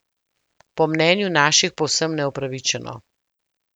Po mnenju naših povsem neupravičeno.